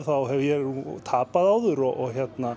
þá hef ég tapað áður og